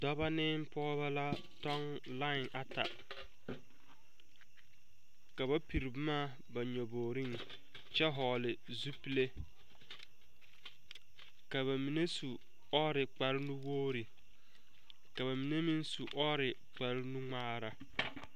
Dɔba ne pɔgeba la tɔŋ lai ata ka ba pere boma a ba nyabogriŋ kyɛ vɔgle zupile ka ba mine su ɔɔre kpare nuwogre ka ba mine meŋ su ɔɔre kpare nu ŋmaara.